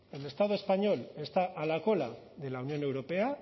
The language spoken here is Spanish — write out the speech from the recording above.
el estado español está a la cola de la unión europea